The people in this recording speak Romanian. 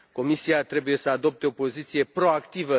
Comisia trebuie să adopte o poziție proactivă